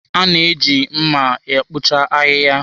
A na-eji mma e kpochapụ ahịhịa.